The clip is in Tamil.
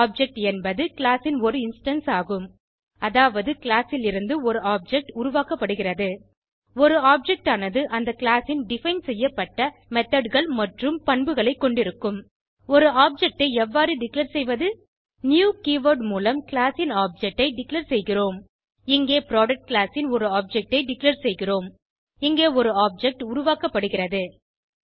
ஆப்ஜெக்ட் என்பது கிளாஸ் ன் ஒரு இன்ஸ்டான்ஸ் ஆகும் அதாவது கிளாஸ் லிருந்து ஒரு ஆப்ஜெக்ட் உருவாக்கப்படுகிறது ஒரு ஆப்ஜெக்ட் ஆனது அந்த கிளாஸ் ல் டிஃபைன் செய்யப்பட்ட methodகள் மற்றும் பண்புகளை கொண்டிருக்கும் ஒரு ஆப்ஜெக்ட் ஐ எவ்வாறு டிக்ளேர் செய்வது நியூ கீவர்ட் ஐ மூலம் கிளாஸ் ன் ஆப்ஜெக்ட் ஐ டிக்ளேர் செய்கிறோம் இங்கே புரொடக்ட் கிளாஸ் ன் ஒரு ஆப்ஜெக்ட் ஐ டிக்ளேர் செய்கிறோம் இங்கே ஒரு ஆப்ஜெக்ட் உருவாக்கப்படுகிறது